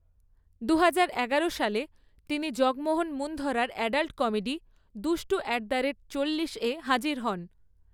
দুহাজার এগারো সালে, তিনি জগমোহন মুন্ধরার অ্যাডাল্ট কমেডি, দুষ্টু অ্যাট দ্য রেট চল্লিশ হাজির হন।